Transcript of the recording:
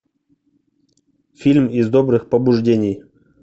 фильм из добрых побуждений